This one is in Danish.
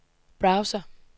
browser